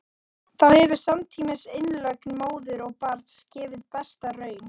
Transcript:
þá hefur samtímis innlögn móður og barns gefið besta raun